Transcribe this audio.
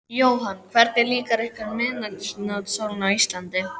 Jóhann: Hvernig líkar ykkur miðnætursólin á Íslandi?